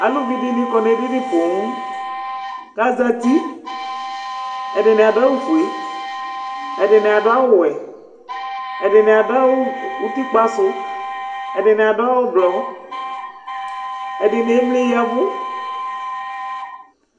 Aluvi dini kɔ n'edini pooo, k'azati, ɛdini adʋ awʋ fue, ɛdini adʋ awʋ wɛ, ɛdini adʋ awʋ utikpa sʋ, ɛdini adʋ awʋ blɔ, ɛdini emli yavʋ